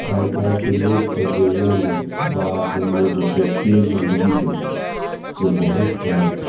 आय काएल के लोग सब जे ये ने तालाब सब में जे छै एते गंदगी कर दे छै जे बहुत गलत छै।